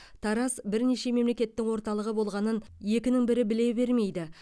тараз бірнеше мемлекеттің орталығы болғанын екінің бірі біле бермейді